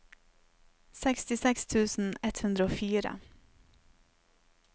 sekstiseks tusen ett hundre og fire